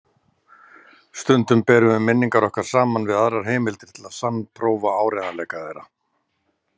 Stundum berum við minningar okkar saman við aðrar heimildir til að sannprófa áreiðanleika þeirra.